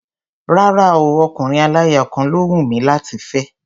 Rárá o, ọkùnrin aláya kan ló hùn mí láti fẹ́.